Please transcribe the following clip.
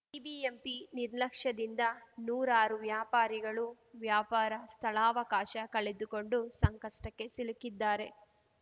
BBMP ನಿರ್ಲಕ್ಷ್ಯದಿಂದ ನೂರಾರು ವ್ಯಾಪಾರಿಗಳು ವ್ಯಾಪಾರ ಸ್ಥಳಾವಕಾಶ ಕಳೆದುಕೊಂಡು ಸಂಕಷ್ಟಕ್ಕೆ ಸಿಲುಕಿದ್ದಾರೆ